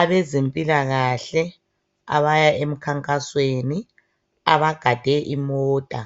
Abezempilakahle abaya emkhankasweni abagade imota